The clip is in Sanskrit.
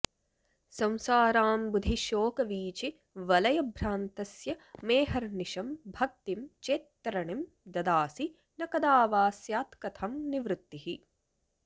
संसाराम्बुधिशोकवीचिवलयभ्रान्तस्य मेऽहर्निशं भक्तिं चेत्तरणिं ददासि न कदा वा स्यात्कथं निर्वृतिः